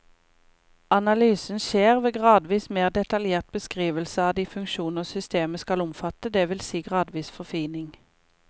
Analysen skjer ved gradvis mer detaljert beskrivelse av de funksjoner systemet skal omfatte, det vil si gradvis forfining.